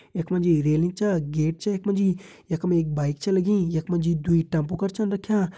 यखमा जी रेलिंग च गेट च यखमा जी यखम एक बाइक च लगीं यखमा जी दुइ टेम्पू कर छन रख्यां।